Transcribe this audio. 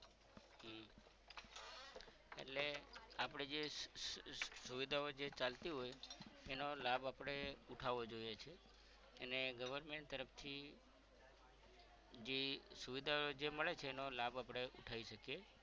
એટલે આપણે જે સુવિધાઓ જે ચાલતી હોય એનો લાભ આપણે ઉઠાવો જોઇયે છે અને government તરફ થી જે સુવિધાઓ જે મળે છે એનો લાભ આપણે ઉઠાવી શકીએ